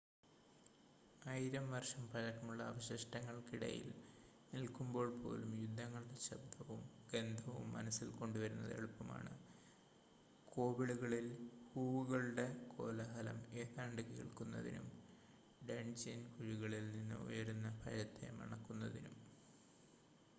ആയിരം വർഷം പഴക്കമുള്ള അവശിഷ്ടങ്ങൾക്കിടയിൽ നിൽക്കുമ്പോൾ പോലും യുദ്ധങ്ങളുടെ ശബ്ദവും ഗന്ധവും മനസ്സിൽ കൊണ്ടുവരുന്നത് എളുപ്പമാണ് കോബിളുകളിൽ ഹൂവുകളുടെ കോലാഹലം ഏതാണ്ട് കേൾക്കുന്നതിനും ഡൺജിയൻ കുഴികളിൽ നിന്ന് ഉയരുന്ന ഭയത്തെ മണക്കുന്നതിനും